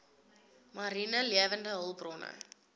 mariene lewende hulpbronne